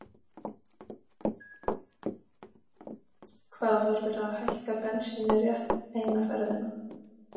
Hvað, var verið að hækka bensínið rétt eina ferðina?